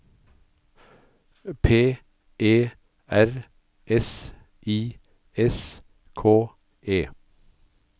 P E R S I S K E